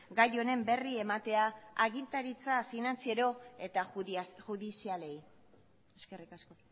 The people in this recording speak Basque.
gai honen berri ematea agintaritza finantziero eta judizialeei eskerrik asko